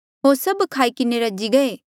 होर सभ खाई किन्हें रजी गये